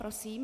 Prosím.